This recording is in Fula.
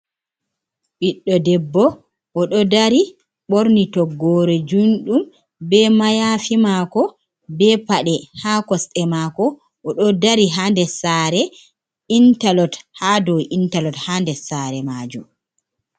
Biɗdo debbo o ɗo dari ɓorni toggore junɗum, be mayafi mako, be pade ha kosɗe mako, o ɗo dari ha nder saare, interlock ha dow interlock ha nder saare majum.